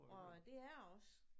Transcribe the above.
Og øh det er jeg også